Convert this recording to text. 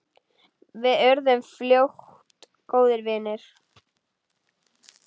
Við urðum fljótt góðir vinir.